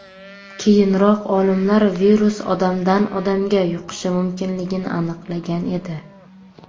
Keyinroq olimlar virus odamdan odamga yuqishi mumkinligini aniqlagan edi.